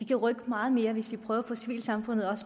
kan rykke meget mere hvis vi også prøver at få civilsamfundet